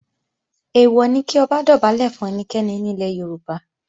Èèwọ̀ ni kí Ọba dọ̀bálẹ̀ fún ẹnikẹ́ni ní ilẹ̀ Yorùbá